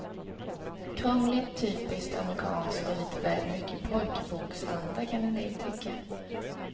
Krångligt, typiskt amerikanskt och lite väl mycket pojkboksanda kan en del tycka.